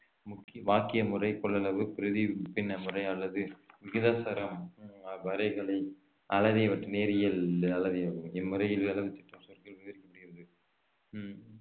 முக்கி~ வாக்கிய முறை கொள்ளளவு பிரதிபின்ன முறை அல்லது விகிதாசார உம் வரைகலை அளவை நேரியல் இம்முறையில் சொற்கள் விவரிக்கப்படுகிறது உம்